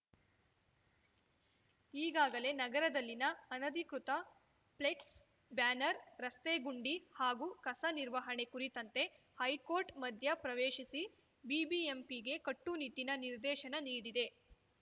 ಈಗಾಗಲೇ ನಗರದಲ್ಲಿನ ಅನಧಿಕೃತ ಫ್ಲೆಕ್ಸ್ ಬ್ಯಾನರ್‌ ರಸ್ತೆ ಗುಂಡಿ ಹಾಗೂ ಕಸ ನಿರ್ವಹಣೆ ಕುರಿತಂತೆ ಹೈಕೋರ್ಟ್‌ ಮಧ್ಯ ಪ್ರವೇಶಿಸಿ ಬಿಬಿಎಂಪಿಗೆ ಕಟ್ಟುನಿಟ್ಟಿನ ನಿರ್ದೇಶನ ನೀಡಿದೆ